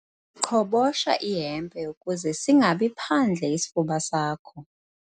Qhobosha ihempe ukuze singabi phandle isifuba sakho.